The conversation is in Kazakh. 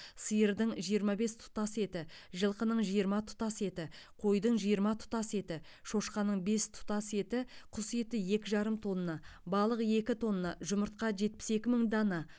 сиырдың жиырма бес тұтас еті жылқының жиырма тұтас еті қойдың жиырма тұтас еті шошқаның бес тұтас еті құс еті екі жарым тонна балық екі тонна жұмыртқа жетпіс екі мың дана